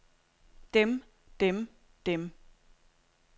dem dem dem